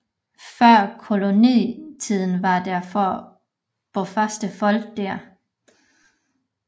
Før kolonitiden var der få bofaste folk der